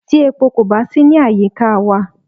Tí epo kò bá sí ní àyíká wa.